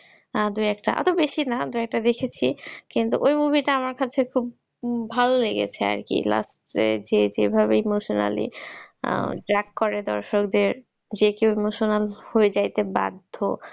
দু একটা অত বেশি না দুই একটা দেখেছি। কিন্তু ওই movie টা আমার কাছে খুব ভাল লেগেছে আর কি last এ যেভাবে emotionally drag করে দর্শকদের যে কেউ emotional হয়ে যাইতে বাধ্য।